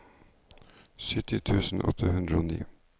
sytti tusen åtte hundre og ni